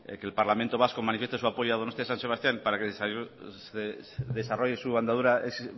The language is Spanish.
que el parlamento vasco manifieste su apoyo a donostia san sebastián para que desarrolle su andadura